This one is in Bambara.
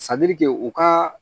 u ka